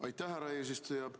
Aitäh, härra eesistuja!